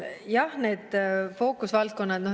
Jah, need fookusvaldkonnad.